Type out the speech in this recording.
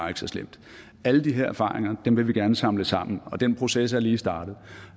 er så slemt alle de her erfaringer vil vi gerne samle sammen og den proces er lige startet